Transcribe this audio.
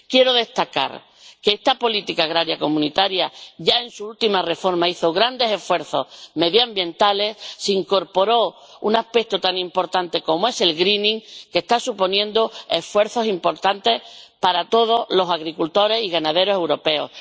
Quiero destacar que esta política agraria comunitaria ya en su última reforma hizo grandes esfuerzos medioambientales, se incorporó un aspecto tan importante como es el greening que está suponiendo esfuerzos importantes para todos los agricultores y ganaderos europeos.